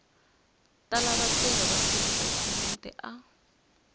tala vatirhi va tidokhumente a